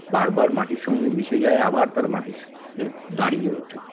বারবার মাটির সঙ্গে মিশে যায় আবার তারা মাটির সাথে দাঁড়িয়ে ওঠে